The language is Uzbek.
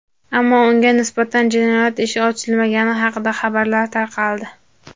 ammo unga nisbatan jinoyat ishi ochilmagani haqida xabarlar tarqaldi.